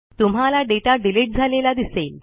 तुम्हाला data delete झालेला दिसेल